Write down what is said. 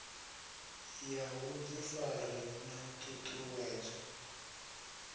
ya vhuḓifari na ṱhu ṱhuwedzo